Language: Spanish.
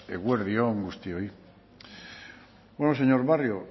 eguerdi on guztioi señor barrio